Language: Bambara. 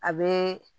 A bɛ